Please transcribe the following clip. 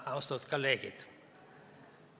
Austatud kolleegid!